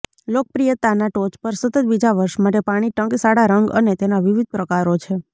લોકપ્રિયતાના ટોચ પર સતત બીજા વર્ષ માટે પાણી ટંકશાળ રંગ અને તેના વિવિધ પ્રકારો છે